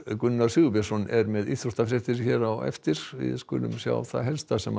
Gunnar Sigurbjörnsson er svo með íþróttafréttir hér á eftir við skulum sjá það helsta sem